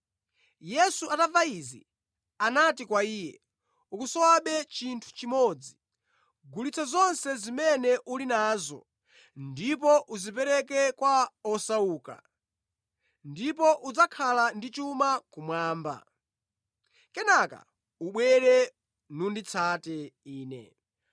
Yesu atamva izi, anati kwa iye, “Ukusowabe chinthu chimodzi: Gulitsa zonse zimene uli nazo ndipo uzipereke kwa osauka, ndipo udzakhala ndi chuma kumwamba. Kenaka ubwere, nunditsate ine.”